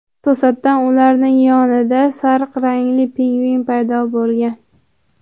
To‘satdan ularning yonida sariq rangli pingvin paydo bo‘lgan.